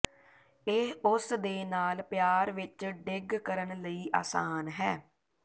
ਇਹ ਉਸ ਦੇ ਨਾਲ ਪਿਆਰ ਵਿੱਚ ਡਿੱਗ ਕਰਨ ਲਈ ਆਸਾਨ ਹੈ